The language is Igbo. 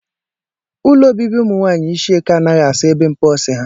Ụlọ ọbịbị umụ nwanyị ishieke anaghị asa ebe mposi ha.